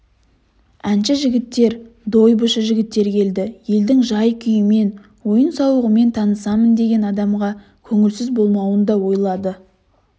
әнші жігіттер дойбышы жігіттер келді елдің жай-күйімен ойын-сауығымен танысамын деген адамға көңілсіз болмауын да ойлады